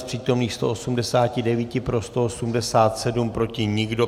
Z přítomných 189 pro 187, proti nikdo.